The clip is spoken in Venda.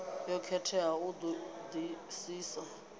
yo khetheaho u ṱo ḓisisa